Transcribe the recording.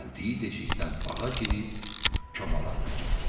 Gəldiyi deşikdən bağa girib komalarına getdi.